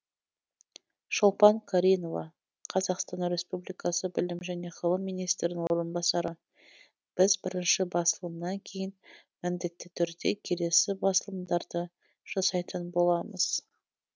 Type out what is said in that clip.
шолпан каринова қазақстан республикасы білім және ғылым министрінің орынбасары біз бірінші басылымнан кейін міндетті түрде келесі басылымдарды жасайтын боламыз